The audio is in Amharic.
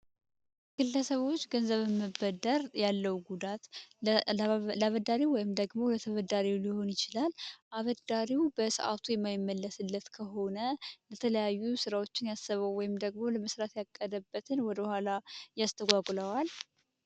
ግለሰቦች ገንዘብ መበደር ያለው ጉዳት ለአበዳሪው ወይም ደግሞ ለተበዳሪው ሊሆን ይችላል አበዳሪው በሰዓቱ የማይመለስለት ከሆነ ለተለያዩ ሥራዎችን ያሰበው ወይም ደግሞ ለመስራት ያቀደበትን ወደ ኋላ ያስተጓግለዋል።